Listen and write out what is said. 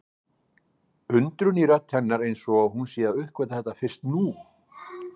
Undrun í rödd hennar eins og hún sé að uppgötva þetta fyrst nú.